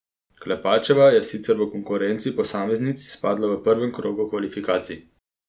Klepačeva je sicer v konkurenci posameznic izpadla v prvem krogu kvalifikacij.